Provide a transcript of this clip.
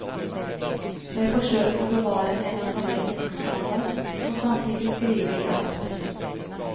Jeg forsøker å bevare en akademisk standard og samtidig skrive i dagspressen.